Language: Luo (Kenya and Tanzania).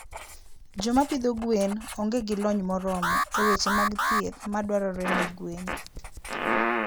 Joma pidho gwen onge gi lony moromo e weche mag thieth madwarore ne gwen.